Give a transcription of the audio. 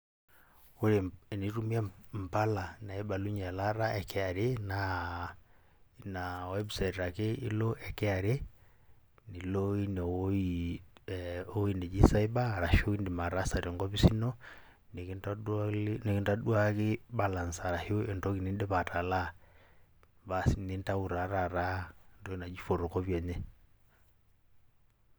Ore enitumie impala naibalunye elaata e KRA, naa ina website ake ilo e KRA, nilo ewoi neji cyber, arashu idim ataasa tenkopis ino, nikintaduaki balance arashu entoki nidipa atalaa. Basi, nintau taa taata entoki naji photocopy enye.